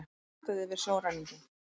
Réttað yfir sjóræningjum